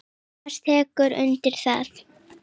Tómas tekur undir það.